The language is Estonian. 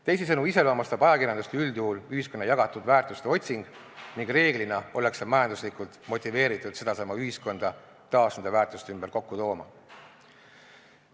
Teisisõnu iseloomustab ajakirjandust üldjuhul ühiskonna jagatud väärtuste otsing ning reeglina ollakse majanduslikult motiveeritud sedasama ühiskonda taas nende väärtuste ümber kokku tooma.